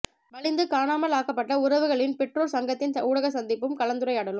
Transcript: வலிந்து காணாமல் ஆக்கப்பட்ட உறவுகளின் பெற்றோர் சங்கத்தின் ஊடக சந்திப்பும் கலந்துரையாடலும்